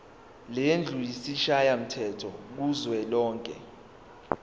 lendlu yesishayamthetho kuzwelonke